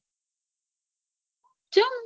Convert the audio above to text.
ચમ